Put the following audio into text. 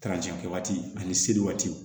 kɛ waati ani seli waati